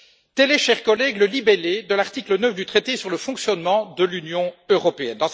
Tel est, chers collègues, le libellé de l'article 9 du traité sur le fonctionnement de l'Union européenne.